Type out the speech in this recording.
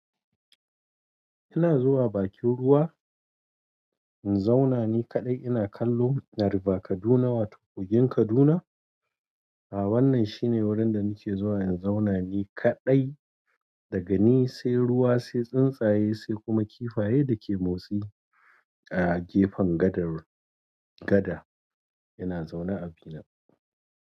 Ina zuwa bakin ruwa in zauna ni kadai ina kallon river kaduna wato kogin kaduna. A wannan shine wurin da nake zuwa in zauna ni kaɗai. Daga ni sai ruwa, sai tsuntsaye, sai kuma kifaye da ke motsi a gefen gadar. Gada yana zaune abina.